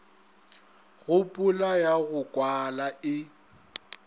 kgopolo ya go kwala e